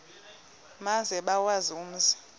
maze bawazi umzi